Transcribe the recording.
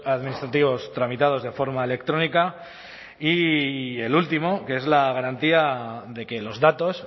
administrativos tramitados de forma electrónica y el último que es la garantía de que los datos